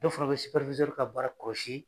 Dɔw fana bɛ ka baara kɔlɔsi.